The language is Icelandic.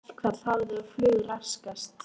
Verkfall hafið og flug raskast